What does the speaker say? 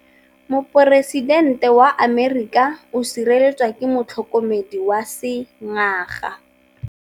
Poresitêntê wa Amerika o sireletswa ke motlhokomedi wa sengaga.